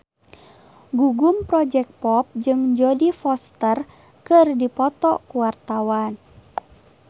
Gugum Project Pop jeung Jodie Foster keur dipoto ku wartawan